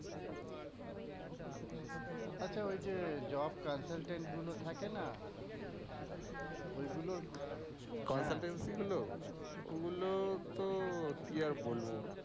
আচ্ছা ঐ যে job consultant গুলো থাকেনা, ঐ গুলোর consultancy গুলোর, অগুলো তো কি আর বলবো।